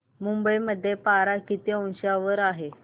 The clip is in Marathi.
मुंबई मध्ये पारा किती अंशावर आहे